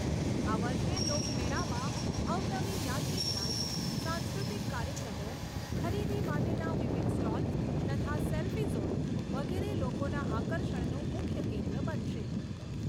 આ વર્ષે લોકમેળામાં અવનવી યાંત્રિક રાઇડ્સ, સાંસ્કૃતિક કાર્યક્રમો, ખરીદી માટેના વિવિધ સ્ટોલસ, તથા સેલ્ફી ઝોન વગેરે લોકોના આકર્ષણનું મુખ્ય કેન્દ્ર બનશે.